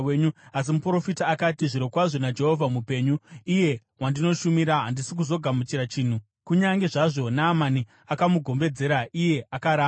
Asi muprofita akati, “Zvirokwazvo, naJehovha mupenyu, iye wandinoshumira, handisi kuzogamuchira chinhu.” Kunyange zvazvo Naamani akamugombedzera, iye akaramba.